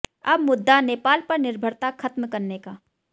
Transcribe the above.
अब मुद्दा नेपाल पर निर्भरता खत्म करने का